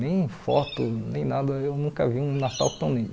Nem foto, nem nada, eu nunca vi um Natal tão lindo.